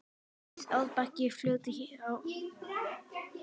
Rís árbakki fljóti hjá.